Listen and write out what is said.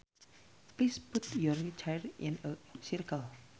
Please put your chairs in a circle